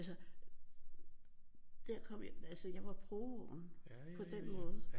Altså der kom jeg jeg var provoen på den måde